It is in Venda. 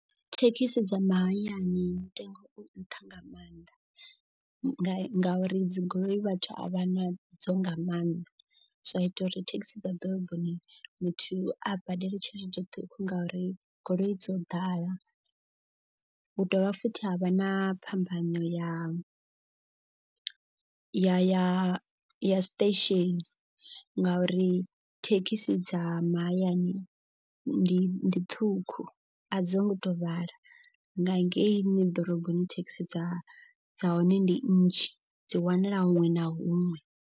Thekhisi dza mahayani mutengo u nṱha nga maanḓa. Ngauri dzi goloi vhathu a vha na dzo nga maanḓa zwa ita uri thekhisi dza ḓoroboni muthu a badele tshelede ṱhukhu. Ngauri goloi dzo ḓala hu dovha futhi havha na phambano ya ya ya ya station. Ngauri thekhisi dza mahayani ndi ṱhukhu a dzo ngo to vhala nga ngeini ḓoroboni thekhisi dza dza hone ndi nnzhi dzi wanala huṅwe na huṅwe.